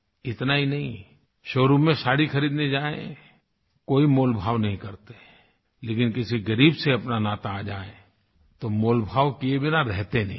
इतना ही नहीं शोरूम में साड़ी ख़रीदने जायें कोई मोलभाव नहीं करते हैं लेकिन किसी ग़रीब से अपना नाता आ जाये तो मोलभाव किये बिना रहते नहीं हैं